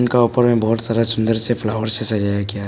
इनका ऊपर में बहोत सारा सुंदर से फ्लावर से सजाया गया--